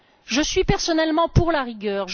Je suis personnellement pour la rigueur.